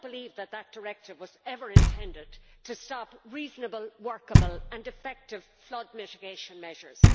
I do not believe that this directive was ever intended to stop reasonable, workable and effective flood mitigation measures.